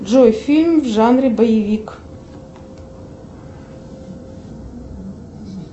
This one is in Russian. джой фильм в жанре боевик